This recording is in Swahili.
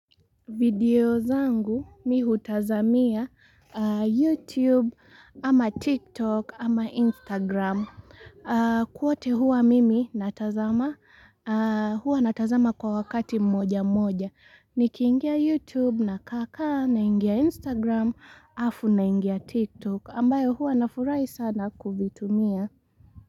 Video zangu mi hutazamia youtube ama tiktok ama instagram kwote hua mimi natazama huwa natazama kwa wakati mmoja mmoja nikiingia youtube na kaakaa naingia instagram alafu naingia tiktok ambayo hua nafurahia sana kuitumia.